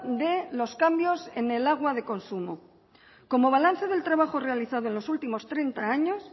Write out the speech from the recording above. de los cambios en el agua de consumo como balance del trabajo realizado en los últimos treinta años